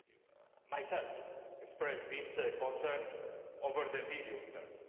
I myself expressed these concerns over the medium term.